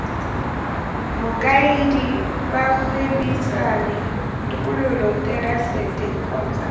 mokaedi bagwebisani tokololo therasete kgotsa